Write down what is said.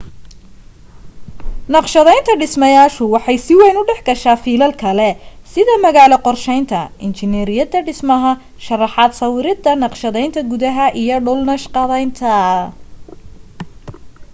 naqshadaynta dhismayaashu waxay si wayn u dhex gashaa fiilal kale sida magaalo qorsheynta injineeriyadda dhismaha sharraxaad sawirada naqshadaynta gudaha iyo dhul naqshadaynta